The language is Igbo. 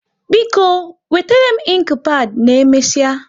Biko, wetere m inki pad na omesia